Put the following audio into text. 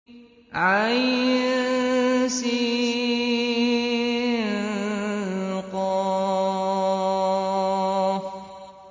عسق